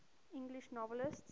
english novelists